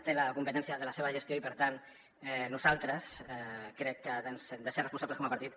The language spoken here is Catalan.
té la competència de la seva gestió i per tant nosaltres crec que hem de ser responsables com a partit